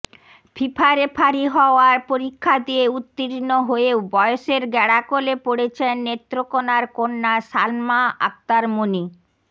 FIFA referee হওয়ার পরীক্ষা দিয়ে উত্তীর্ণ হয়েও বয়সের গ্যাড়াকলে পড়েছেন নেত্রকোনার কন্যা সালমা আক্তার মনি